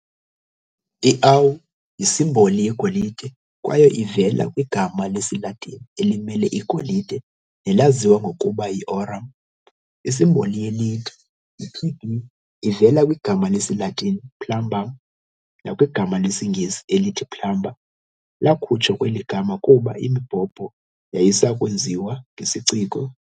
I-'Au' yisimboli yegolide kwaye ivela kwigama lesiLatini elimele igolide nelaziwa ngokuba yi-"aurum". Isimboli ye-Lead, yi-'Pb', ivela kwigama lesiLatini "plumbum" nakwigama lesiNgesi elithi plumber lakhutshwa kweli gama kuba imibhobho yayisayakwenziwa ngesiciko.